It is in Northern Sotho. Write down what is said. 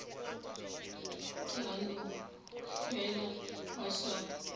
tla no fela ba sa